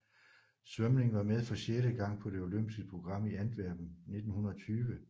Svømning var med for sjette gang på det olympiske program i Antwerpen 1920